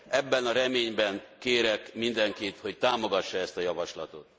Ebben a reményben kérek mindenkit, hogy támogassa ezt a javaslatot.